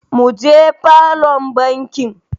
Mu je falon bikin.